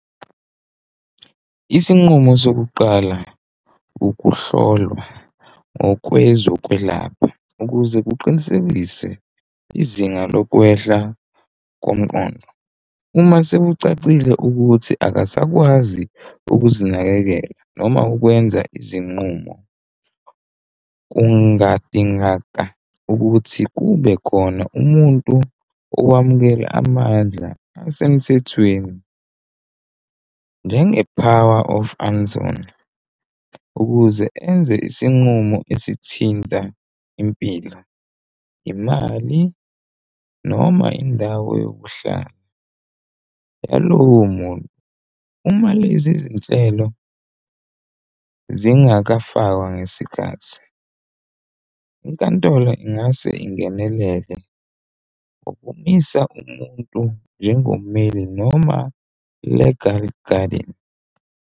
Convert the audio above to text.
Isinqumo sokuqala ukuhlolwa ngokwezokwelapha ukuze kuqinisekise izinga lokwehla komqondo. Uma sekucacile ukuthi akasakwazi ukuzinakekela noma ukwenza izinqumo. Kungadingakala ukuthi kube khona umuntu okwamukela amandla asemthethweni njenge-Power of Anton ukuze enze isinqumo esithinta impilo, imali noma indawo yokuhlala nalowo muntu uma lezi zinhlelo zingafakwa ngesikhathi inkantolo ingase ingenelele ukumisa umuntu njengo mali noma legal guardian.